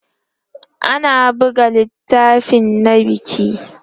ana buga littafai na biki